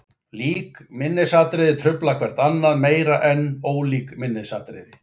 Lík minnisatriði trufla hvert annað meira en ólík minnisatriði.